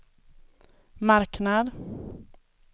marknad